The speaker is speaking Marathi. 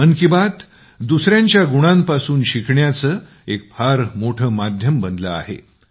मन की बात दुसऱ्यांच्या गुणांपासून शिकण्याचं एक फार मोठं माध्यम बनलं आहे